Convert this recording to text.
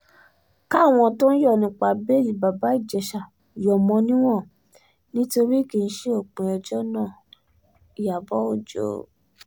káwọn tó ń yọ̀ nípa bẹ́ẹ̀lì bàbá ìjèṣà yọ̀ mọ́ níwọ̀n nítorí kì í ṣe òpin ẹjọ́ náà-ìyàbọ̀ ọjọ́